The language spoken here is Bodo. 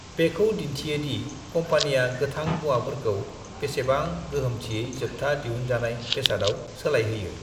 बेखौ दिन्थियो दि कम्पानिया गोथां मुवाफोरखौ बेसेबां गोहोमथियै जोबथा दिहुनजानाय बेसादाव सोलायहोयो ।